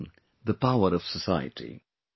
They strengthen the power of society